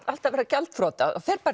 alltaf að verða gjaldþrota fer